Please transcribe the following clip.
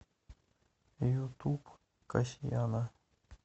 ютуб касьяна